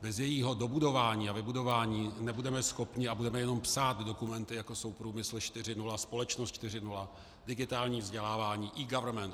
Bez jejího dobudování a vybudování nebudeme schopni a budeme jenom psát dokumenty, jako jsou průmysl 4.0, společnost 4.0, digitální vzdělávání, eGovernment.